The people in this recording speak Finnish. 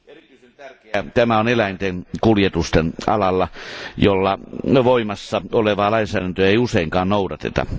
Erityisen tärkeää tämä on eläinten kuljetusten alalla, jolla voimassa olevaa lainsäädäntöä ei useinkaan noudateta.